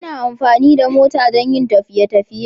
Ana amfani da mota don yin tafiye tafiye